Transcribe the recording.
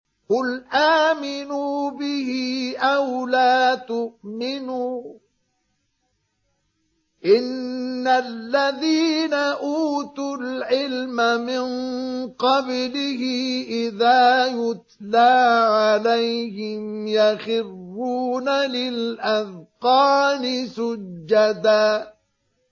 قُلْ آمِنُوا بِهِ أَوْ لَا تُؤْمِنُوا ۚ إِنَّ الَّذِينَ أُوتُوا الْعِلْمَ مِن قَبْلِهِ إِذَا يُتْلَىٰ عَلَيْهِمْ يَخِرُّونَ لِلْأَذْقَانِ سُجَّدًا